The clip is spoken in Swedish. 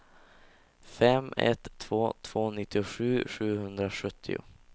fem ett två två nittiosju sjuhundrasjuttio